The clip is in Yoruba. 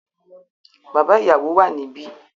Bàbá ìyàwó wà níbí.